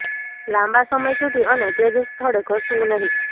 લાંબા સમય સુધી અને તે જ સ્થળે ઘસવું નહીં